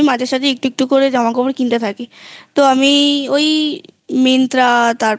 আমি মাঝে মাঝে একটু একটু করে জামা কাপড় কিনতে থাকি তাই আমি ওই Myntra